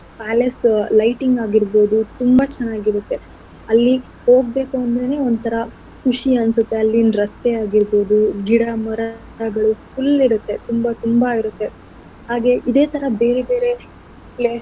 Palace ಉ lighting ಆಗಿರ್ಬೋದು ತುಂಬಾ ಚೆನ್ನಾಗಿರತ್ತೆ ಅಲ್ಲಿ ಹೋಗ್ಬೇಕು ಅಂದ್ರೆನೆ ಒಂತರ ಖುಷಿ ಅನ್ಸತ್ತೆ ಅಲ್ಲಿನ್ ರಸ್ತೆ ಆಗಿರ್ಬೋದು ಗಿಡ ಮರಗಳು full ಇರತ್ತೆ ತುಂಬಾ ತುಂಬಾ ಇರತ್ತೆ. ಹಾಗೆ ಇದೆ ತರ ಬೇರೆ ಬೇರೆ places .